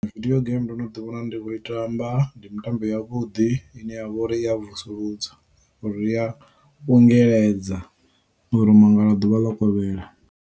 Video game ndo no ḓi wana ndi khou i tamba ndi mutambo yavhuḓi ine ya vha uri i ya vusuludza uri i ya ungeledza u ḓoto mangala ḓuvha ḽo kovhela.